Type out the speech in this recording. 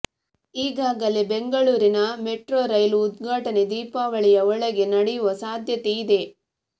ಈಗಾಗಲೇ ಬೆಂಗಳೂರಿನ ಮೆಟ್ರೌ ರೈಲು ಉದ್ಘಾಟನೆ ದೀಪಾವಳಿಯ ಒಳಗೆ ನಡೆಯುವ ಸಾಧ್ಯತೆ ಇದೆ